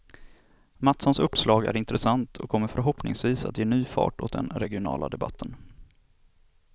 Mattssons uppslag är intressant, och kommer förhoppningsvis att ge ny fart åt den regionala debatten.